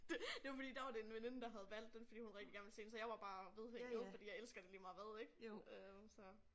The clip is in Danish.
Det det var fordi der var det en veninde der havde valgt den fordi hun rigtig gerne ville se den så jeg var bare vedhæng jo fordi jeg elsker det lige meget hvad ik øh så